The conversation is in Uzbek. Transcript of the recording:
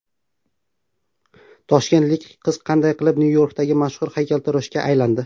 Toshkentlik qiz qanday qilib Nyu-Yorkdagi mashhur haykaltaroshga aylandi ?